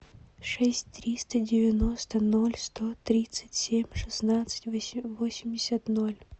шесть триста девяносто ноль сто тридцать семь шестнадцать восемьдесят ноль